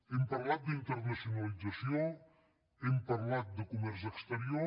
hem parlat d’internacionalització hem parlat de comerç exterior